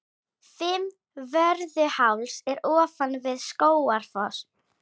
Fimmvörðuháls er ofan við Skógafoss.